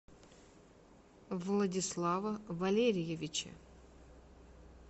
владислава валерьевича